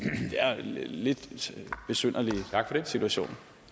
lidt besynderlig situation